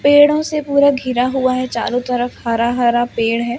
पेड़ों से पूरा घिरा हुआ है चारो तरफ हरा हरा पेड़ है।